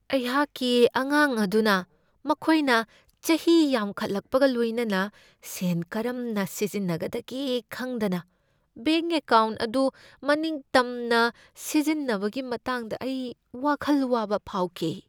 ꯑꯩꯍꯥꯛꯛꯤ ꯑꯉꯥꯡ ꯑꯗꯨꯅ ꯃꯈꯣꯏꯅ ꯆꯍꯤ ꯌꯥꯝꯈꯠꯂꯛꯄꯒ ꯂꯣꯏꯅꯅ ꯁꯦꯟ ꯀꯔꯝꯅ ꯁꯤꯖꯤꯟꯅꯒꯗꯒꯦ ꯈꯪꯗꯅ ꯕꯦꯡꯛ ꯑꯦꯀꯥꯎꯟꯠ ꯑꯗꯨ ꯃꯅꯤꯡ ꯇꯝꯅ ꯁꯤꯖꯤꯟꯅꯕꯒꯤ ꯃꯇꯥꯡꯗ ꯑꯩ ꯋꯥꯈꯜ ꯋꯥꯕ ꯐꯥꯎꯈꯤ ꯫